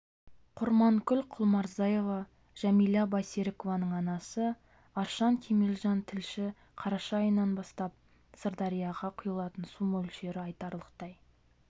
құрманкүл құлмұрзаева жәмила байсерікованың анасы аршын кемелжан тілші қараша айының бастап сырдарияға құйылатын су мөлшері айтарлықтай